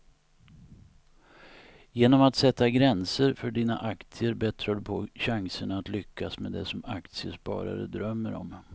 Genom att sätta gränser för dina aktier bättrar du på chanserna att lyckas med det som aktiesparare drömmer om.